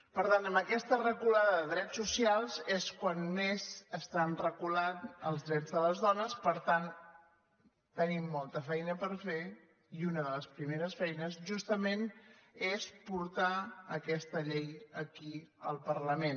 per tant amb aquesta reculada de drets socials és quan més estan re·culant els drets de les dones per tant tenim molta feina per fer i una de les primeres feines justament és portar aquesta llei aquí al parlament